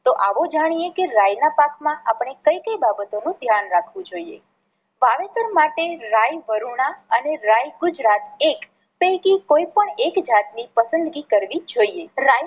તો આવો જાણીએ કે રાઈ ના પાકમાં આપણે કઈ કઈ બાબતો નું ધ્યાન રાખવું જોઈએ. વાવેતર માટે રાઈ વરુણા અને રાઈ ગુજરાત એક પૈકી કોઈ પણ એક જાત ની પસંદગી કરવી જોઈએ.